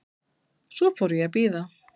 Svo fór ég að bíða.